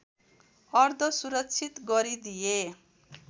अर्ध सुरक्षित गरिदिए